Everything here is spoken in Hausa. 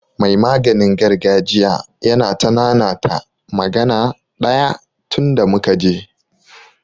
Mai maganin gargajiya yana ta nanata magana ɗaya tunda muka je.